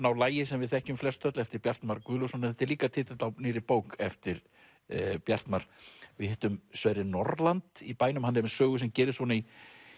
á lagi sem við þekkjum flest öll eftir Bjartmar Guðlaugsson þetta er líka titill á nýrri bók eftir Bjartmar við hittum Sverri Norland í bænum hann er með sögu sem gerist í